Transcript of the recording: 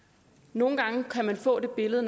nogle gange kan man få det billede